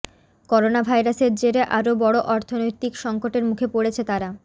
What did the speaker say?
করোনাভাইরাসের জেরে আরও বড় অর্থনৈতিক সঙ্কটের মুখে পড়েছে তারা